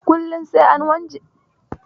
Kullum sai an wanke wajen ninƙayar cikin otel din.